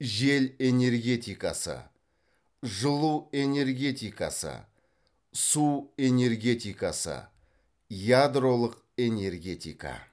жел энергетикасы жылу энергетикасы су энергетикасы ядролық энергетика